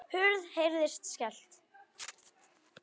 Hurð heyrist skellt.